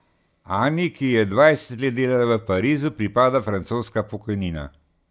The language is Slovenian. Ani, ki je dvajset let delala v Parizu, pripada francoska pokojnina.